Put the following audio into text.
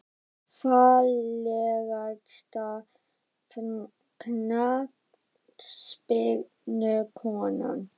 pass Fallegasta knattspyrnukonan?